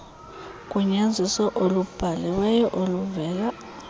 ugunyaziso olubhaliweyo oluvela